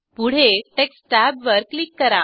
पुढे टेक्स्ट टॅबवर क्लिक करा